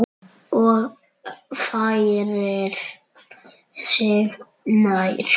Og færir sig nær.